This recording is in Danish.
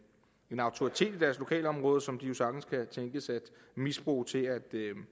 en autoritet i deres lokalområde som de jo sagtens kan tænkes at misbruge til at